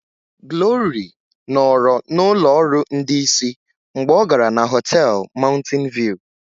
Glory nọrọ na ụlọ ọrụ ndị isi mgbe ọ gara na họtel Mountain View